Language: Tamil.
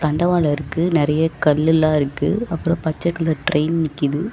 தண்டவாளொ இருக்கு. நெறைய கல்லெல்லா இருக்கு. அப்றோ பச்ச கலர் டிரெயின் நிக்கிது.